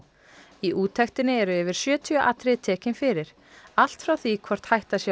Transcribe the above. í úttektinni eru yfir sjötíu atriði tekin fyrir allt frá því hvort hætta sé á